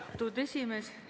Austatud esimees!